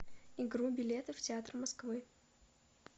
игру билеты в театры москвы